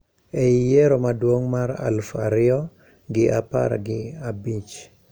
E I yiero maduong` mar aluf ariyo gi apar gi abich